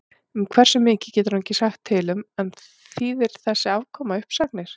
Um hversu mikið getur hann ekki sagt til um en þýðir þessi afkoma uppsagnir?